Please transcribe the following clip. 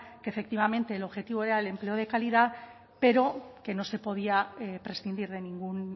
que efectivamente el objetivo era el empleo de calidad pero que no se podía prescindir de ningún